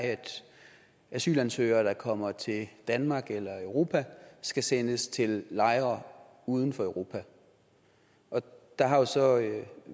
er at asylansøgere der kommer til danmark eller europa skal sendes til lejre uden for europa der har så